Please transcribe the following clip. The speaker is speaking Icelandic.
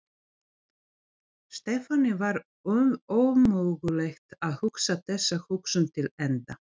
Stefáni var ómögulegt að hugsa þessa hugsun til enda.